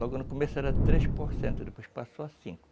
Logo no começo era três por cento, depois passou a cinco.